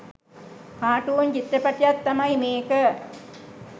cartoon චිත්‍රපටියක් තමයි මේක